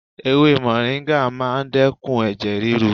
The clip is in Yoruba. Ewé mòríńgà máa ń dẹ́kun ẹ̀jẹ̀ ríru.